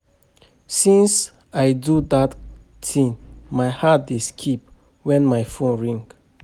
Since I do dat thing my heart dey skip wen my phone ring